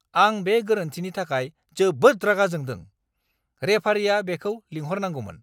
आं बे गोरोन्थिनि थाखाय जोबोद रागा जोंदों! रेफारिया बेखौ लिंहरनांगौमोन!